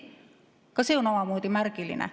Ka see on omamoodi märgiline.